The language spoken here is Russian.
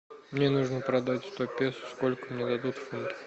мне нужно продать сто песо сколько мне дадут фунтов